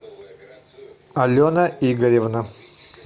алена игоревна